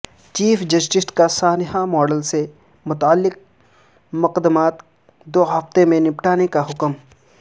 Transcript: chief justice کا سانحہ model سے متعلق مقدمات دو ہفتے میں نمٹانے کا حکم